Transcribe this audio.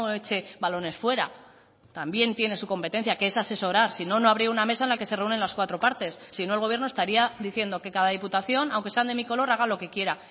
eche balones fuera también tiene su competencia que es asesorar si no no habría una mesa en la que se reúnen las cuatro partes si no el gobierno estaría diciendo que cada diputación aunque sean de mi color haga lo que quiera